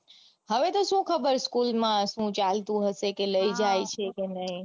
હવે તો સુ ખબર school માં સુ ચાલતું હશે કે લઇ જાય છે કે નઈ